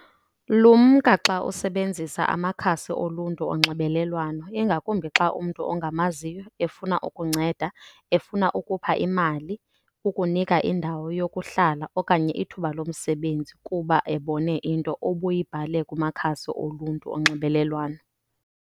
Lumka xa usebenzisa amakhasi oluntu onxibelelwano, ingakumbi xa umntu ongamaziyo efuna ukunceda, efuna ukupha imali, ukunika indawo yokuhlala okanye ithuba lomsebenzi kuba ebone into obuyibhalile kumakhasi oluntu onxibelelwano.